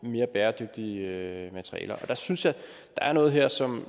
mere bæredygtige materialer og jeg synes at der er noget her som